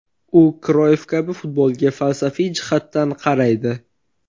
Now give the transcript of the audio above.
U Kroyff kabi futbolga falsafiy jihatdan qaraydi.